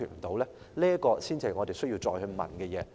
這才是我們需要再問的事。